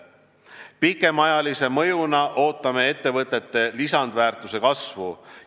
Pikemaajalise mõjuna ootame ettevõtete lisandväärtuse kasvu.